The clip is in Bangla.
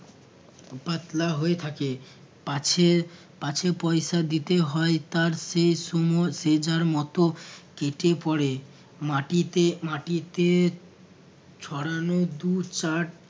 পাতলা হয়ে থাকে পাছে পাছে পরিচয় দিতে হয় তার সে সময় যে যার মতো কেটে পড়ে মাটিতে মাটিতে ছড়ানো দু চার